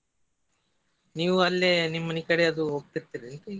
ನೀವು ಅಲ್ಲಿ ನಿಮ್ ಮನಿ ಕಡೆ ಅದು ಹೋಗ್ತಿರ್ತೀರೇನ್ರಿ?